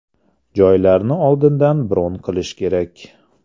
Joylarni oldindan bron qilish kerak.